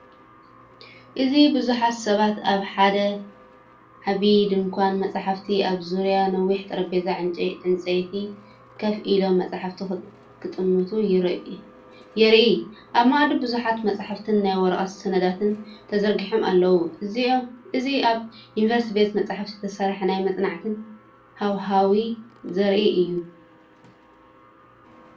እዚ ብዙሓት ሰባት ኣብ ሓደ ዓቢ ድኳን መጻሕፍቲ ኣብ ዙርያ ነዊሕ ጠረጴዛ ዕንጨይቲ ኮፍ ኢሎም መጻሕፍቲ ክጥምቱ የርኢ። ኣብ መኣዲ ብዙሓት መጻሕፍትን ናይ ወረቐት ሰነዳትን ተዘርጊሖም ኣለዉ። እዚኣብ ዩኒቨርሲቲ ቤተ መጻሕፍቲ ዝተሰፍሐ ናይ መጽናዕትን ሃዋህው ዘርኢ እዩ።